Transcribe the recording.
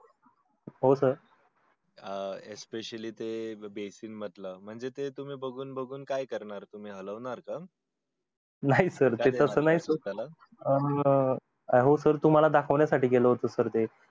हो sir हा specially ते बगुन बगुन काय करणार तुम्ही हलवणार कानाही sir तस नाही अहो तुम्हला दाखवण्या साठी केलं होत सर ते